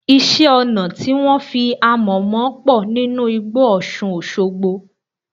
Iṣẹ́-ọnà tí wọ́n fi amọ̀ mọ pọ̀ nínú igbó Ọṣùn Òṣogbo.